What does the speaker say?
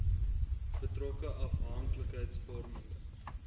betrokke afhank likheidsvormende